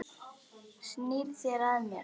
Snýrð þér að mér.